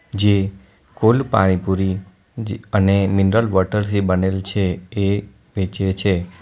જે કોલ્ડ પાણીપુરી જે અને મિનરલ વોટર થી બનેલ છે એ વેચે છે.